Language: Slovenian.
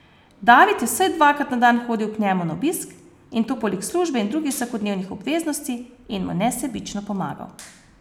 David je vsaj dvakrat na dan hodil k njemu na obisk, in to poleg službe in drugih vsakodnevnih obveznosti, in mu nesebično pomagal.